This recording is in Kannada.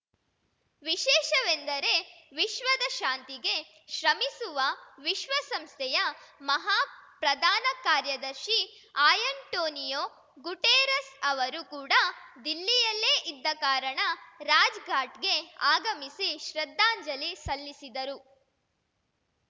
ವಿಶೇಷವೆಂದರೆ ವಿಶ್ವದ ಶಾಂತಿಗೆ ಶ್ರಮಿಸುವ ವಿಶ್ವಸಂಸ್ಥೆಯ ಮಹಾ ಪ್ರಧಾನ ಕಾರ್ಯದರ್ಶಿ ಆ್ಯಂಟೋನಿಯೋ ಗುಟೆರಸ್‌ ಅವರು ಕೂಡ ದಿಲ್ಲಿಯಲ್ಲೇ ಇದ್ದ ಕಾರಣ ರಾಜ್ ಘಾಟ್‌ಗೆ ಆಗಮಿಸಿ ಶ್ರದ್ಧಾಂಜಲಿ ಸಲ್ಲಿಸಿದರು